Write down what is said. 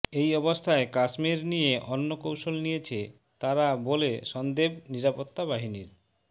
এই অবস্থায় কাশ্মীর নিয়ে অন্য কৌশল নিয়েছে তাঁরা বলে সন্দেব নিরাপত্তা বাহিনীর